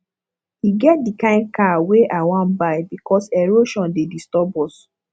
e get di kain car wey i wan buy because erosion dey disturb us